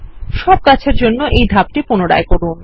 সব গাছের জন্য এই ধাপটি পুনরায় করুন